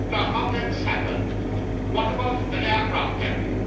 How can this happen? What about an aircraft carrier?